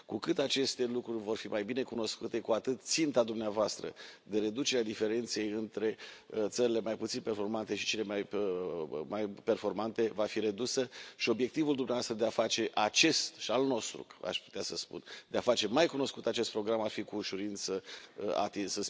Cu cât aceste lucruri vor fi mai bine cunoscute, cu atât ținta dumneavoastră de reducere a diferenței între țările mai puțin performante și cele mai performante va fi atinsă și obiectivul dumneavoastră și al nostru, aș putea să spun, de a face mai cunoscut acest program ar fi cu ușurință atins.